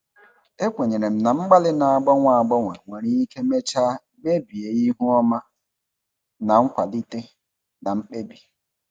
Ekwenyere m na mgbalị na-agbanwe agbanwe nwere ike mechaa mebie ihu ọma na nkwalite na mkpebi.